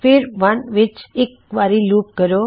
ਫਿਰ 1 ਵਿੱਚ ਇੱਕ ਵਾਰੀ ਲੂਪ ਕਰੋ